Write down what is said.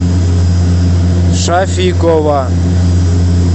шафикова